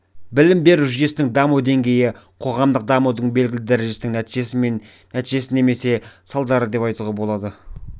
білім беру жүйесінің даму деңгейі қоғамдық дамудың белгілі дәрежесінің нәтижесі немесе салдары деп айтуға болады